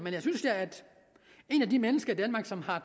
et af de mennesker i danmark som har